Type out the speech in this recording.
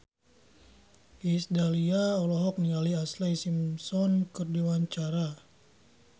Iis Dahlia olohok ningali Ashlee Simpson keur diwawancara